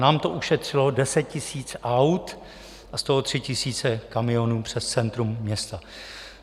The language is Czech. Nám to ušetřilo deset tisíc aut a z toho tři tisíce kamionů přes centrum města.